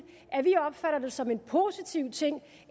at vi opfatter det som en positiv ting